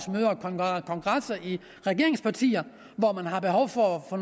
kongresser i regeringspartierne hvor man har behov for at